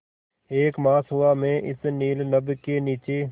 एक मास हुआ मैं इस नील नभ के नीचे